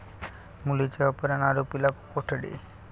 मुलीचे अपहरण, आरोपीला कोठडी